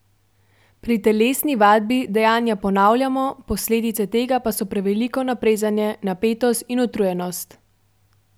Pri telesni vadbi dejanja ponavljamo, posledice tega pa so preveliko naprezanje, napetost in utrujenost.